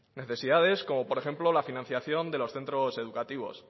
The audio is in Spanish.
necesidades como por ejemplo la financiación de los centros educativos